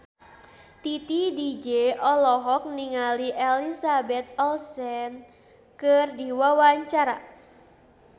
Titi DJ olohok ningali Elizabeth Olsen keur diwawancara